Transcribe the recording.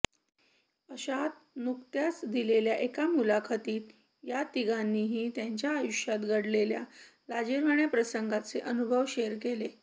अशात नुकत्याच दिलेल्या एका मुलाखतीत या तिघांनीही त्यांच्या आयुष्यात घडलेल्या लाजिरवाण्या प्रसंगांचे अनुभव शेअर केले